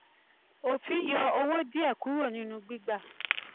òfin yọ owó díẹ̀ kúrò nínú gbígbà